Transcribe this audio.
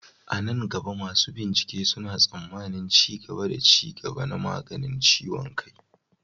A nan gaba, masu bincike suna tsammanin ci gaba da ci gaba na maganin ciwon kai.